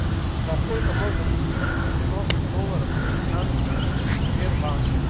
за сколько можно купить девяносто долларов американских в сбербанке